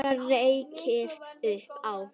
Bara rekið upp Á!